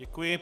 Děkuji.